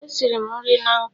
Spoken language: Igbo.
Esiri m nri na nkụ.